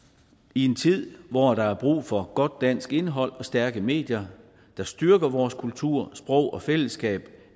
i en tid hvor der er brug for godt dansk indhold og stærke medier der styrker vores kultur sprog og fællesskab